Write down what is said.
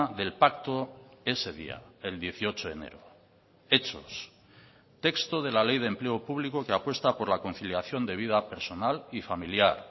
del pacto ese día el dieciocho de enero hechos texto de la ley de empleo público que apuesta por la conciliación de vida personal y familiar